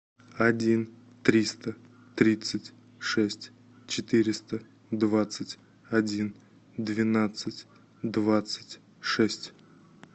один триста тридцать шесть четыреста двадцать один двенадцать двадцать шесть